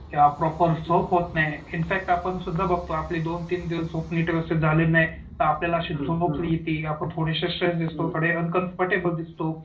किंवा प्रॉपर झोप होत नाही. इनफॅक्ट आपण सुद्धा बघतो आपली दोन तीन दिवस झोप व्यवस्थित नीट झाली नाही तर आपल्याला अशी झोप येति आपण थोडेसे दिसतो थोडे अनकंफर्टेबल दिसतो.